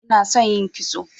inason yin kitso